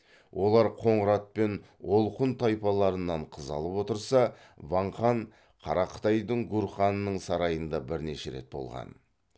олар қоңырат пен олқұн тайпаларынан қыз алып отырса ван хан қара қытайдың гурханының сарайында бірнеше рет болған